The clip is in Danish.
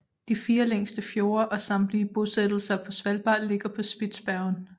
De fire længste fjorde og samtlige bosættelser på Svalbard ligger på Spitsbergen